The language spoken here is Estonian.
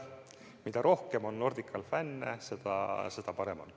Mida rohkem on Nordical fänne, seda parem on.